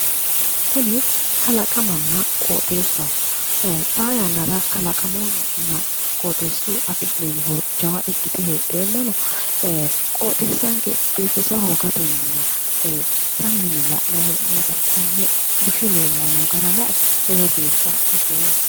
Kuni kalaqammana qoxeessaho xaa yannara kalaqamunna qoxeessuyi afi'nemmo horo jawa ikkite heedheenna qoxeessanke biifisa hoogatenna sammi yine la'nayi hee'noyiita konne bushe noota lae lowontanni mishoomma